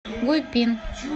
гуйпин